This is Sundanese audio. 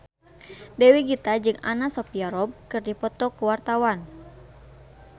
Dewi Gita jeung Anna Sophia Robb keur dipoto ku wartawan